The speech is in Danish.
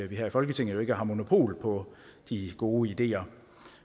vi her i folketinget jo ikke har monopol på de gode ideer